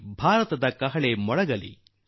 ಆಗು ಕೀರ್ತಿವಂತ ಹಾರಿಸಿ ಬಾವುಟ ರಿಯೋದಲ್ಲಿ